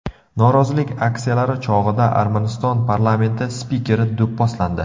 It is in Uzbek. Norozilik aksiyalari chog‘ida Armaniston parlamenti spikeri do‘pposlandi.